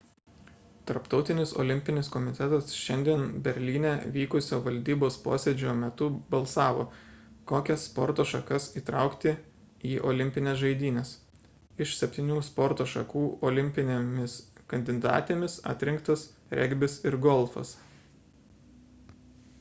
tarptautinis olimpinis komitetas šiandien berlyne vykusio valdybos posėdžio metu balsavo kokias sporto šakas įtraukti į olimpines žaidynes iš septynių sporto šakų olimpinėmis kandidatėmis atrinktas regbis ir golfas